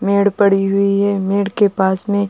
मेढ़ पड़ी हुई है। मेढ़ के पास में --